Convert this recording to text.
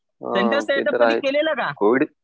Centre setup कधी केलेलं का?